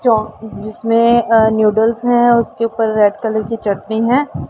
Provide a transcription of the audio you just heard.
चो जिसमें अ नूडल्स है उसके ऊपर रेड कलर की चटनी है।